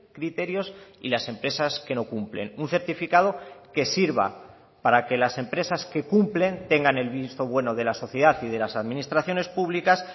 criterios y las empresas que no cumplen un certificado que sirva para que las empresas que cumplen tengan el visto bueno de la sociedad y de las administraciones públicas